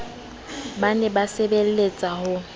ba se ba sebleletsa ho